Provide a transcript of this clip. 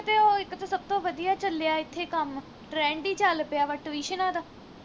ਸਭ ਤੋਂ ਵਧੀਆ ਚੱਲਿਆ ਇਥੇ ਕੰਮ trend ਈ ਚੱਲ ਪਿਆ ਵਾ tuition ਦਾ